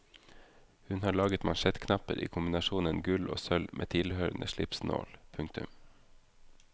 Hun har laget mansjettknapper i kombinasjonen gull og sølv med tilhørende slipsnål. punktum